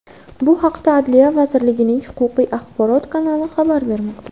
Bu haqda Adliya vazirligining Huquqiy axborot kanali xabar bermoqda .